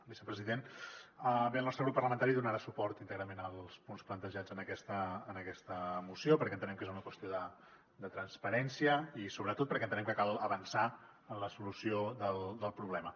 vicepresident bé el nostre grup parlamentari donarà suport íntegrament als punts plantejats en aquesta moció perquè entenem que és una qüestió de transparència i sobretot perquè entenem que cal avançar en la solució del problema